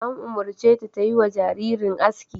An umurce ta ta yi wa jaririn aski!